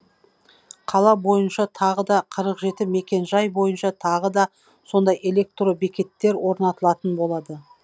қала бойынша тағы да қырық жеті мекен жай бойынша тағы да сондай электро бекеттер орнатылатын болады